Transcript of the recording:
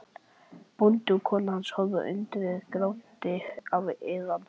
Bóndi og kona hans horfa á undrið, grátandi af iðran.